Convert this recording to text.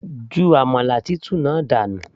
ju àmàlà tútù náà dànù